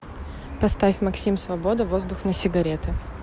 поставь максим свобода воздух на сигареты